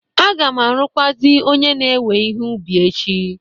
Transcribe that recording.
Aga m arụkwazi onye na-ewe ihe ubi echi